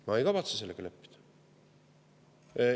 Ma ei kavatse sellega leppida.